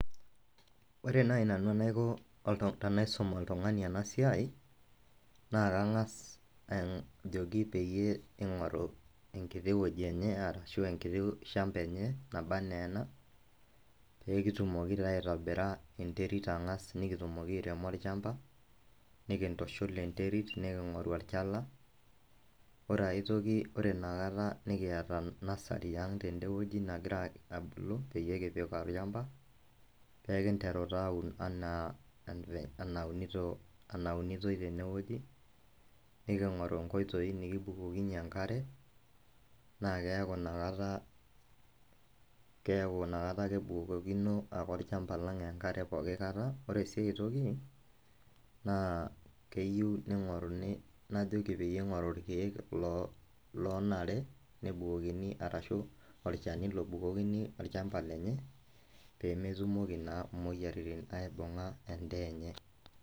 Ore nai nanu enaiko tenaisum oltung'ani enasiai, naa kang'as ajoki peyie ing'oru enkiti wueji enye ashu enkiti shamba enye, naba enaa ena, pekitumoki taa aitobira enterit ang'as nikitumoki airemo olchamba, nikintushul enterit, niking'oru olchala, ore autoki ore inakata nikiata nasari ang' tedewoji nagira abulu, peyie kipik olchamba, pekinteru taa aun enaa enaunito, enaunitoi tenewoji, niking'oru nkoitoii nikibukokinye enkare, na keeku inakata, keeku nakata kebukokino olchamba lang' enkare pooki kata, ore si aitoki, naa keyieu ning'oruni najoki peyie ing'oru irkeek lonare nebukokini arashu olchani lobukokini olchamba lenye, pemetumoki naa moyiaritin aibung'a endaa enye.